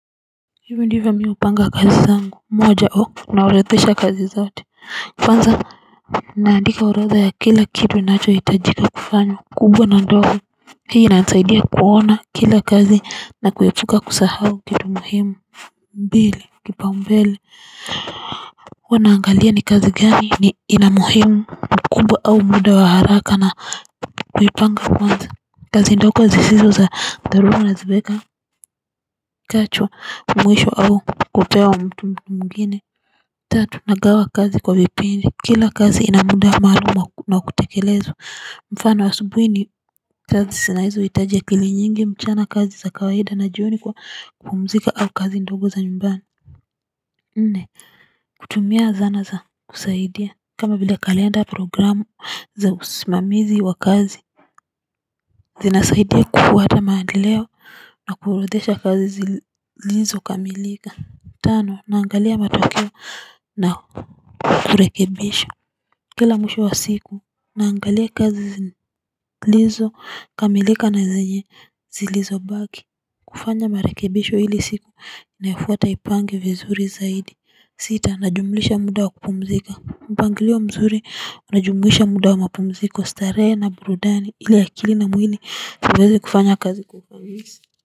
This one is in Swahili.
Hivyo ndivyo mi upanga kazi zangu moja au naurothesha kazi zote. Kwanza naandika orodha ya kila kitu ninacho hitajika kufanya, kubwa na ndogo. Hii inanisaidia kuona kila kazi na kuepuka kusahau kitu muhimu. Mbili, kipau mbele, huwa naangalia ni kazi gani ina muhimu mkubwa au muda wa haraka na kuipanga kwanza. Kazi ndogo zisizo za dharura na ziweka chachu mwisho au kupewa mtu mwingine. Tatu, nagawa kazi kwa vipindi kila kazi ina muda maalum wa kutekelezwa mfano asubuhi ni kazi zina hizo hitaji akili nyingi mchana kazi za kawaida na jioni kwa kupumzika au kazi ndogo za nyumbani. Nne kutumia zana za kusaidia kama vile kalenda, programu za usimamizi wa kazi. Zinasaidia kufuata maandeleo na kuorodesha kazi zilizo kamilika. Tano naangalia matokeo na kurekebisha. Kila mwisho wa siku naangalia kazi zilizo kamilika na zenye zilizo baki kufanya marekebisho ili siku inayafuata ipange vizuri zaidi. Sita najumlisha muda wa kupumzika, mpangilio mzuri unajumlisha muda wa mapumziko starehe na burudani ili akili na mwili viweze kufanya kazi kwa ufanisi.